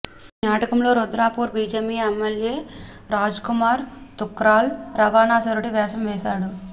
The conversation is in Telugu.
ఈ నాటకంలో రుద్రాపూర్ బీజేపీ ఎమ్మెల్యే రాజ్కుమార్ తుక్రాల్ రావణాసురుడి వేషం వేశారు